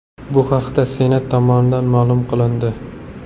Bu haqda Senat tomonidan ma’lum qilindi .